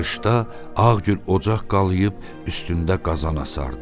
Qışda Ağgül ocaq qalıyıb üstündə qazan asardı.